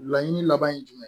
Laɲini laban ye jumɛn ye